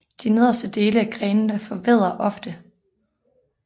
De nederste dele af grenene forvedder ofte